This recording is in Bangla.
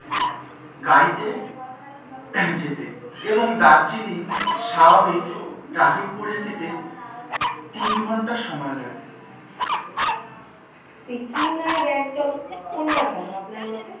সিকিম আর গ্যাংটক কোনটা ভালো আপনার মতে?